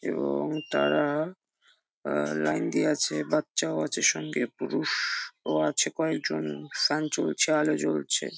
এবং তারা আ আ লাইন দিয়ে আছে বাচ্চা ও আছে সঙ্গে পরুষ ও ও আছে কয়েক জন ফ্যান চলছে আলো জ্বলছে।